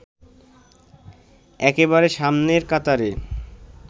একেবারে সামনের কাতারে